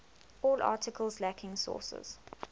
all articles lacking sources